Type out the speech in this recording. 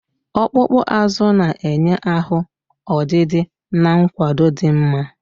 Ọkpụkpụ azụ na-enye ahụ ọdịdị na nkwado dị mma